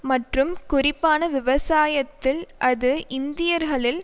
மற்றும் குறிப்பான விவசாயத்தில் அது இந்தியர்களில்